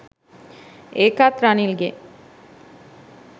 ඒකත් රනිල්ගෙ